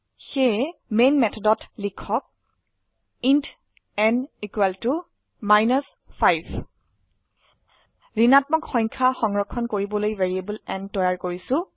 সেয়ে মেন মেথডত লিখক ইণ্ট n মাইনাছ 5 ঋণাত্মক সংখ্যা সংৰক্ষণ কৰিবলৈ ভ্যাৰিয়েবল n তৈৰী কৰিছো